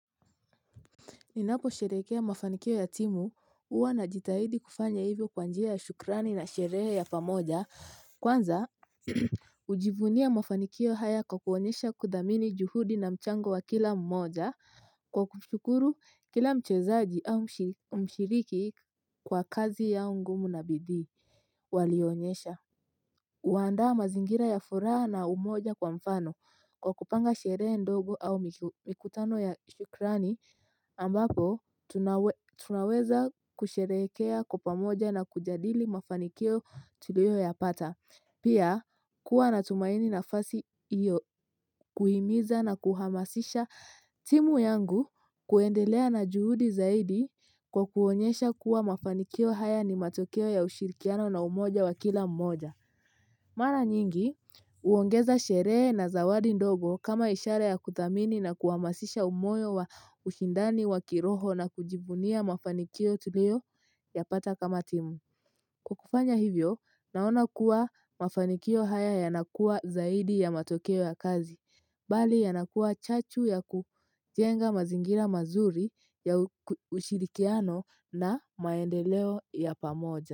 Ninaposherekea mafanikio ya timu huwa najitahidi kufanya hivyo kwa njia ya shukrani na sherehe ya pamoja kwanza hujivunia mafanikio haya kwa kuonyesha kuthamini juhudi na mchango wa kila mmoja. Kwa kushukuru kila mchezaji au mshiriki kwa kazi yao ngumu na bidii walionyesha. Uandaa mazingira ya furaha na umoja kwa mfano kwa kupanga sherehe ndogo au mikutano ya shukrani ambapo tunaweza kusherekea kwa pamoja na kujadili mafanikio tuliyoyapata. Pia kuwa natumaini nafasi hiyo kuhimiza na kuhamasisha timu yangu kuendelea na juhudi zaidi kwa kuonyesha kuwa mafanikio haya ni matokeo ya ushirikiano na umoja wa kila mmoja. Mara nyingi uongeza sherehe na zawadi ndogo kama ishara ya kuthamini na kuhamasisha umoyo wa ushindani wa kiroho na kujivunia mafanikio tuliyoyapata kama timu. Kwa kufanya hivyo naona kuwa mafanikio haya yanakua zaidi ya matokeo ya kazi. Bali yanakuwa chachu ya kujenga mazingira mazuri ya ushirikiano na maendeleo ya pamoja.